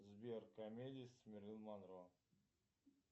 сбер комедии с мерлин монро